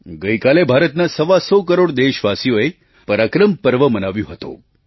ગઇકાલે ભારતના સવા સો કરોડ દેશવાસીઓએ પરાક્રમ પર્વ મનાવ્યું હતું